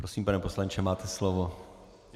Prosím, pane poslanče, máte slovo.